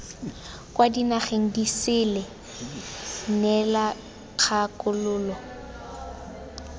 kwa dinageng disele neela kgakololo